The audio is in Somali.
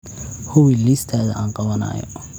hubi liistada aan qabanayo